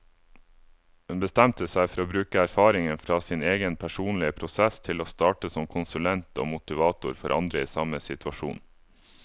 Hun bestemte seg for å bruke erfaringene fra sin egen personlige prosess til å starte som konsulent og motivator for andre i samme situasjon.